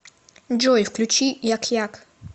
джой включи як як